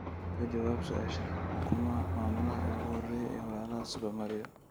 ka jawaab su'aashan waa kuma maamulaha ugu horreeya ee walaalaha super mario